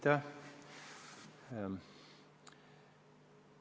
Aitäh!